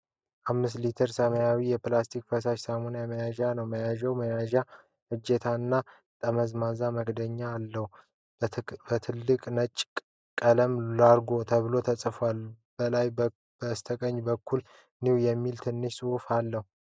5 ሊትር ሰማያዊ የፕላስቲክ ፈሳሽ ሳሙና መያዣ ነው። መያዣው መያዣ እጀታ እና ጠመዝማዛ መክደኛ አለው። በትልቁ ነጭ ቀለም "Largo" ተብሎ ተጽፏል። ከላይ በስተቀኝ በኩል "New" የሚል ትንሽ ጽሑፍ አለ።